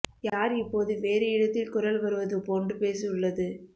யார் இப்போது வேறு இடத்தில் குரல் வருவது போன்று பேசு உள்ளது